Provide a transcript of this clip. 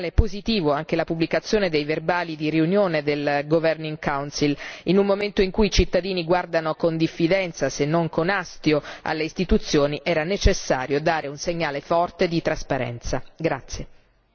Mi sembra un segnale positivo anche la pubblicazione dei verbali di riunione del Consiglio direttivo in un momento in cui i cittadini guardano con diffidenza, se non con astio, alle istituzioni, era necessario dare un segnale forte di trasparenza.